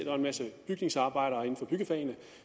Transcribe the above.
er en masse bygningsarbejdere inden for byggefagene